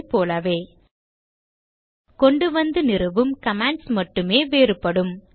Ubuntu ஐ போலவே கொண்டுவந்து நிறுவும் கமாண்ட்ஸ் மட்டுமே வேறுபடும்